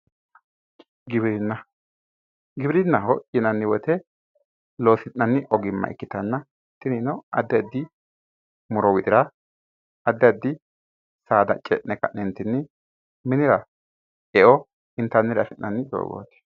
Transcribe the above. Giwirinna, giwirinnaho lyinanni woyte oosi'nanni ogimma ikkitanna tinino addi addi muro widira addi addi saada ce"ne ka"ne minira e"o intannire afi'nanni dogooti.